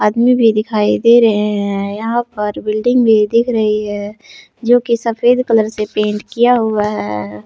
भी दिखाई दे रहे हैं यहाँ पर बिल्डिंग भी दिख रही है जोकि सफेद कलर से पेंट किया हुआ है।